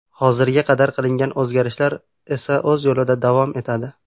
Hozirga qadar qilingan o‘zgarishlar esa o‘z yo‘lida davom etadi.